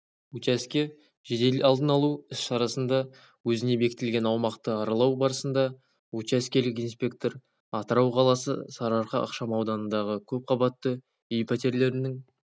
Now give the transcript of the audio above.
учаске жедел алдын алу іс шарасында өзіне бекітілген аумақты аралау барысында учаскелік инспектор атырау қаласы сарыарқа ықшамауданындағы көп қабатты үй пәтерлерінің